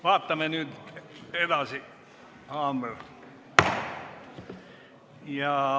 Vaatame nüüd edasi.